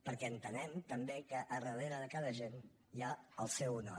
perquè entenem també que darrera de cada agent hi ha el seu honor